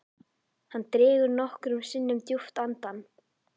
Hann dregur nokkrum sinnum djúpt andann.